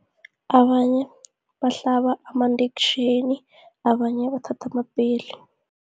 Abanye bahlaba amandektjheni, abanye bathatha amapeli.